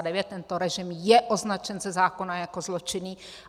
Tento režim je označen ze zákona jako zločinný.